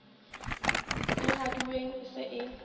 e raduweng e se e